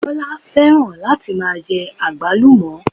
Bọ́lá fẹ́ràn láti máa jẹ àgbálùmọ̀